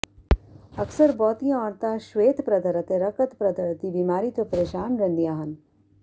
ਅਕਸਰ ਬਹੁਤੀਆਂ ਔਰਤਾਂ ਸ਼ਵੇਤਪ੍ਰਦਰ ਅਤੇ ਰਕਤਪ੍ਰਦਰ ਦੀ ਬਿਮਾਰੀ ਤੋਂ ਪ੍ਰੇਸ਼ਾਨ ਰਹਿੰਦੀਆਂ ਹਨ